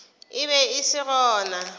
e be e se gona